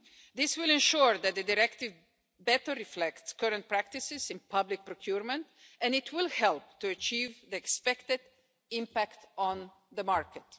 This will ensure that the directive better reflects current practices in public procurement and it will help to achieve the expected impact on the market.